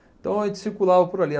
Então a gente circulava por ali.